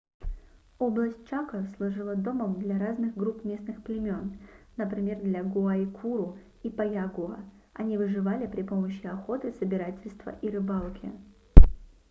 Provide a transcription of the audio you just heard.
область чако служила домом для разных групп местных племен например для гуайкуру и паягуа они выживали при помощи охоты собирательства и рыбалки